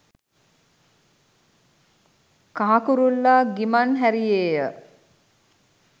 කහ කුරුල්ලා ගිමන් හැරියේය.